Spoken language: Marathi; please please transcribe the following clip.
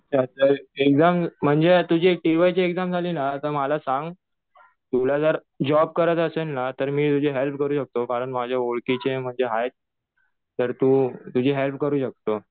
एक्झाम म्हणजे तुझी टि वाय ची एक्झाम झाली ना कि मला सांग. तुला जर जॉब करायचा असेल ना तर मी तुझी हेल्प करू शकतो. कारण माझ्या ओळखीचे म्हणजे आहेत. तर तु तुझी हेल्प करू शकतो.